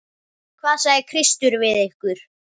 Hvað sagði Kristur við ykkur?